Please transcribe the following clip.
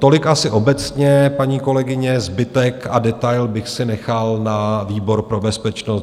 Tolik asi obecně, paní kolegyně, zbytek a detail bych si nechal na výbor pro bezpečnost.